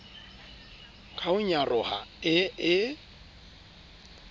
ka ho nyaroha e e